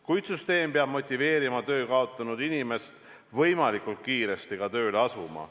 Kuid süsteem peab motiveerima töö kaotanud inimest võimalikult kiiresti ka tööle asuma.